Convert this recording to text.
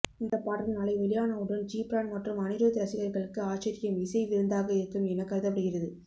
இந்தப் பாடல் நாளை வெளியானவுடன் ஜிப்ரான் மற்றும் அனிருத் ரசிகர்களுக்கு ஆச்சரியம் இசை விருந்தாக இருக்கும் என கருதப்படுகிறது